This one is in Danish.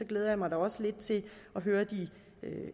glæder jeg mig da også lidt til at høre de